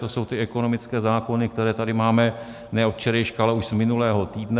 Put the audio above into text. To jsou ty ekonomické zákony, které tady máme ne od včerejška, ale už z minulého týdne.